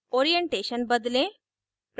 2 orientation बदलें